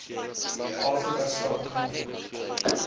afrika staan khanya